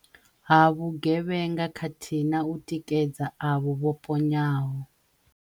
ha vhuge vhenga khathihi na u tikedza avho vho ponyaho.